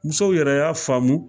Musow yɛrɛ y'a faamu